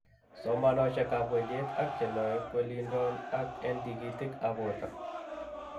Somanosiek ab wendiet ak chenoe kwelindo en tigitik ab borto